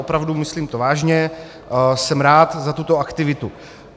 Opravdu, myslím to vážně, jsem rád za tuto aktivitu.